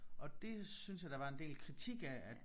Og det synes jeg der var en del kritik af at